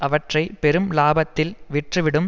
அவற்றை பெரும் இலாபத்தில் விற்றுவிடும்